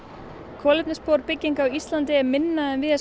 kolefnisfótspor bygginga á Íslandi er minna en víðast